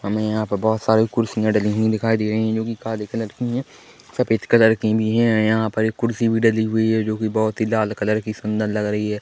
हमे यहाँ पर बोहोत सारी कुर्सियां डली हुई दिखाई दे रही है जो की काले कलर की है सफेद कलर की भी है यहाँ पर एक कुर्सी भी डली हुई है जो की बोहोत ही लाल कलर की सुंदर लग रही है।